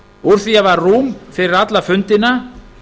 úr því að það var rúm fyrir alla fundina